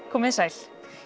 komið þið sæl